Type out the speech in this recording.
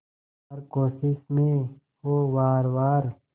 हर कोशिश में हो वार वार